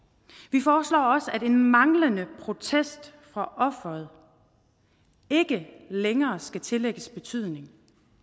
vi foreslår også at en manglende protest fra offeret ikke længere skal tillægges betydning